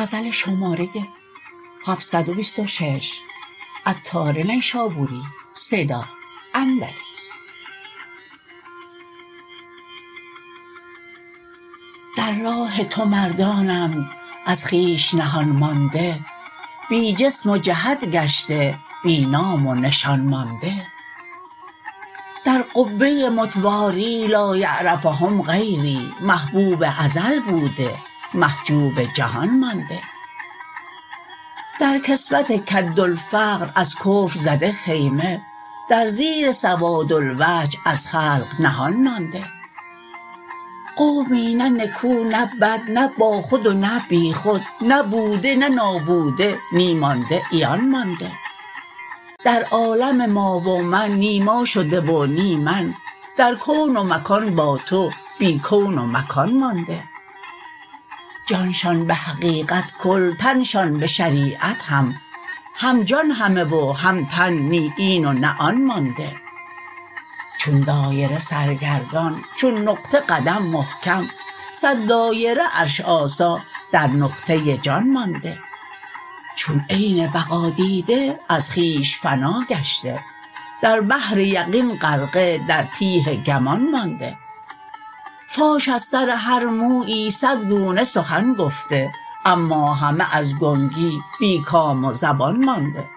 در راه تو مردانند از خویش نهان مانده بی جسم و جهت گشته بی نام و نشان مانده در قبه متواری لایعرفهم غیری محبوب ازل بوده محجوب جهان مانده در کسوت کادالفقر از کفر زده خیمه در زیر سوادالوجه از خلق نهان مانده قومی نه نکو نه بد نه با خود و نه بیخود نه بوده نه نابوده نی مانده عیان مانده در عالم ما و من نی ما شده و نی من در کون و مکان با تو بی کون و مکان مانده جانشان به حقیقت کل تنشان به شریعت هم هم جان همه و هم تن نی این و نه آن مانده چون دایره سرگردان چون نقطه قدم محکم صد دایره عرش آسا در نقطه جان مانده چون عین بقا دیده از خویش فنا گشته در بحر یقین غرقه در تیه گمان مانده فاش از سر هر مویی صد گونه سخن گفته اما همه از گنگی بی کام و زبان مانده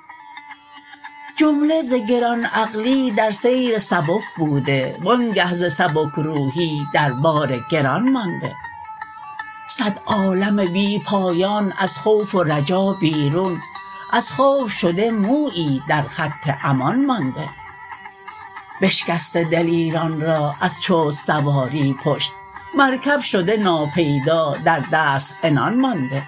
جمله ز گران عقلی در سیر سبک بوده وآنگه ز سبک روحی در بار گران مانده صد عالم بی پایان از خوف و رجا بیرون از خوف شده مویی در خط امان مانده بشکسته دلیران را از چست سواری پشت مرکب شده ناپیدا در دست عنان مانده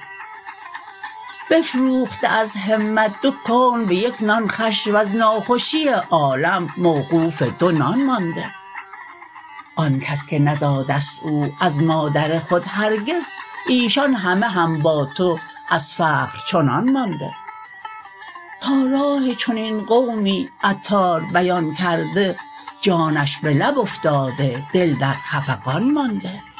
بفروخته از همت دو کون به یک نان خوش وز ناخوشی عالم وقوف دو نان مانده آن کس که نزاد است او از مادر خود هرگز ایشان همه هم با تو از فقر چنان مانده تا راه چنین قومی عطار بیان کرده جانش به لب افتاده دل در خفقان مانده